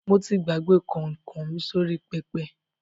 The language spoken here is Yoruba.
Mo ti gbàgbé kọ̀nkọ̀ mi sórí pẹpẹ.